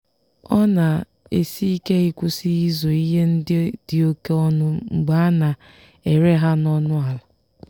ọ na-esi ike ịkwụsị ịzụ ihe ndị dị oke ọnụ mgbe a na-ere ha n'ọnụ ala.